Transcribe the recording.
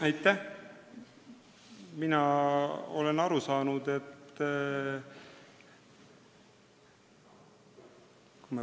Aitäh!